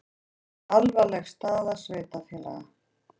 Alvarleg staða sveitarfélaga